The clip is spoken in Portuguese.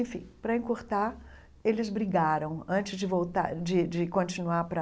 Enfim, para encurtar, eles brigaram antes de voltar de de continuar para...